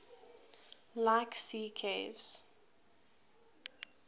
like sea caves